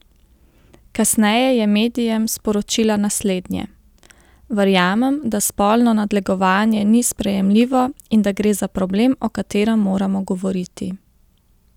Kasneje je medijem sporočila naslednje: "Verjamem, da spolno nadlegovanje ni sprejemljivo in da gre za problem, o katerem moramo govoriti.